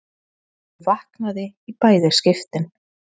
Ég vaknaði í bæði skiptin.